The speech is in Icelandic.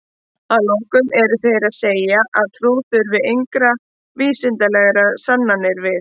Að lokum eru þeir sem segja að trú þurfi engra vísindalegra sannana við.